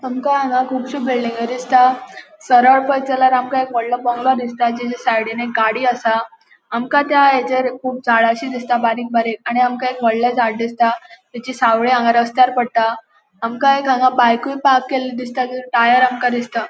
आमका हांगा कूबशी बिल्डिंग दिसता पोळेत झाल्यार आमका एक वॉडलों बंगलो दिसता जीच साइडीन एक गाड़ी असा आमका त्या येछेर कुब झाडशी दिसता बारीक बारीक आणि आमका एक वोडले झाड़ दिसता तेची सावली हांगा रस्त्यार पट्टा आमका एक हांगा बाइक पार्क केले दिसता जाचे टायर आमका दिसता.